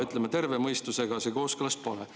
Ütleme, terve mõistusega see kooskõlas pole.